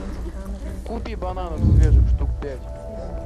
купи бананов свежих штук пять